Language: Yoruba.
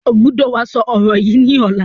O gbọ́dọ̀ wá sọ ọ̀rọ̀ yìí ni ọ̀la!